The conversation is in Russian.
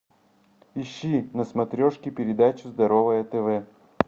ищи на смотрешке передачу здоровое тв